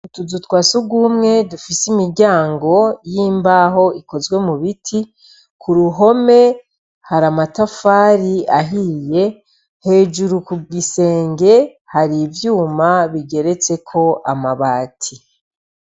Utuzu twa sugumwe dufise imiryango y'imbaho ikozwe mu biti, ku ruhome hari amatafari ahiye, hejuru ku gisenge hari ivyuma bigeretseko amabati.